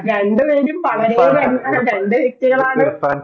രണ്ടുപേരും വളരെ രണ്ടു വ്യക്തികളാണ്